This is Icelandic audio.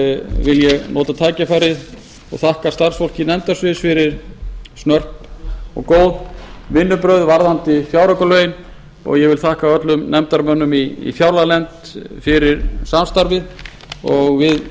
vil ég nota tækifærið og þakka starfsfólki nefndasviðs fyrir snörp og góð vinnubrögð varðandi fjáraukalögin ég vil þakka öllum nefndarmönnum í fjárlaganefnd fyrir samstarfið og við